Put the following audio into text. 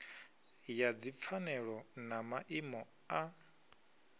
ya dzipfanelo na maimo a